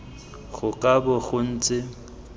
go ka bo go ntse